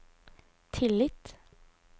tillit